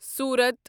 سورت